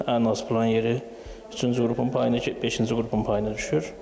Ən az plan yeri üçüncü qrupun payına, beşinci qrupun payına düşür.